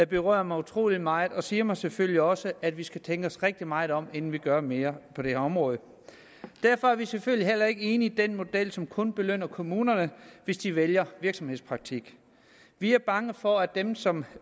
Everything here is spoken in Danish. berører mig utrolig meget og siger mig selvfølgelig også at vi skal tænke os rigtig meget om inden vi gør mere på det område derfor er vi selvfølgelig heller ikke enige i den model som kun belønner kommunerne hvis de vælger virksomhedspraktik vi er bange for at dem som